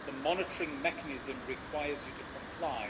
The monitoring mechanism requires you to comply.